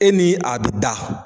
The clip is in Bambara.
E ni a be da